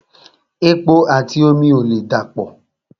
Epo àti omi ò lè dà pọ̀